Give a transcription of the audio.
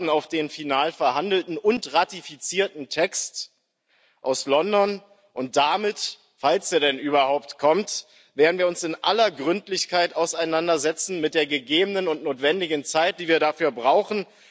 Wir warten auf den final verhandelten und ratifizierten Text aus London, und damit falls er denn überhaupt kommt werden wir uns in aller Gründlichkeit auseinandersetzen mit der gegebenen und notwendigen Zeit, die wir dafür brauchen.